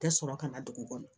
Tɛ sɔrɔ ka na dugu kɔnɔ